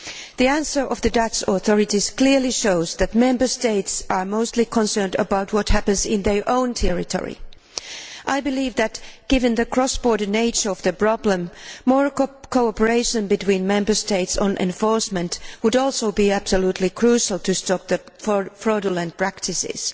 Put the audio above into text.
The answer of the Dutch authorities clearly shows that Member States are mostly concerned about what happens in their own territory. I believe that given the cross border nature of the problem, more cooperation between Member States on enforcement would also be absolutely crucial to stop the fraudulent practices.